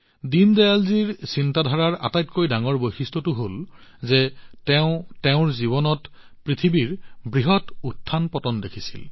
দীনদয়ালজীৰ চিন্তাৰ আটাইতকৈ ডাঙৰ বৈশিষ্ট্যটো হল যে তেওঁ নিজৰ জীৱনত পৃথিৱীৰ বৃহৎ উত্থানপতনসমূহ দেখিছিল